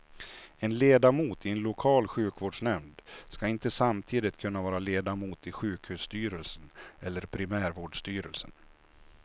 En ledamot i en lokal sjukvårdsnämnd skall inte samtidigt kunna vara ledamot i sjukhusstyrelsen eller primärvårdsstyrelsen.